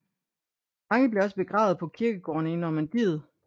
Mange blev også begravet på kirkegårdene i Normandiet